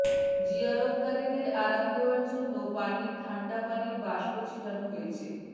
জিয়ারতকারীদের আরাম দেয়ার জন্য পানির ঠাণ্ডা পানির বাষ্প ছিটানো হয়েছে